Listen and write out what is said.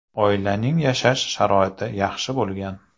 Oilaning yashash sharoiti yaxshi bo‘lgan.